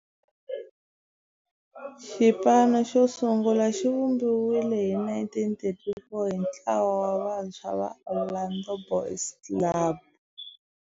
Xipano xosungula xivumbiwile hi 1934 hi ntlawa wa vantshwa va Orlando Boys Club.